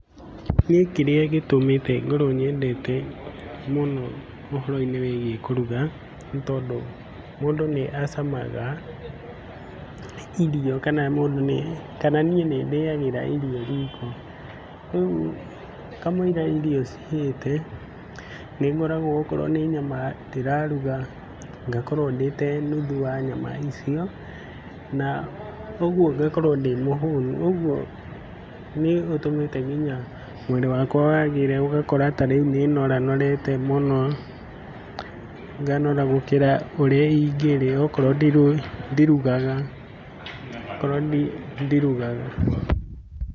Gũĩ kĩrĩa gĩtũmĩte ngorwo nyendete mũno ũhoro-inĩ wĩgiĩ kũruga nĩ tondũ mũndũ nĩ acamaga irio kana niĩ nĩ ndĩagĩra irio riko. Rĩu kamũira irio cihĩte, nĩngoragwo okorwo nĩ nyama ndĩraruga, ngakorwo ndĩte nuthu wa nyama icio. Na ũguo ngakorwo ndĩ mũhũnu, ũguo nĩ gũtũmĩte nginya mwĩrĩ wakwa wagĩre, ũgakora tarĩu nĩ nora norete mũno, nganora gũkĩra ũrĩa ingĩrĩa, okorwo ndirugaga, okorwo ndirugaga.